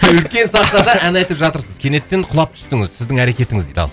үлкен сахнада ән айтып жатырсыз кенеттен құлап түстіңіз сіздің әрекетіңіз дейді ал